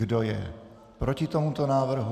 Kdo je proti tomuto návrhu?